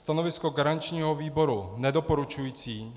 Stanovisko garančního výboru nedoporučující.